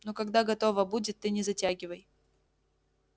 ну когда готово будет ты не затягивай